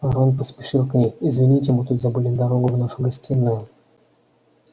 рон поспешил к ней извините мы тут забыли дорогу в нашу гостиную